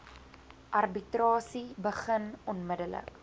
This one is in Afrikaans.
arbitrasie begin onmiddellik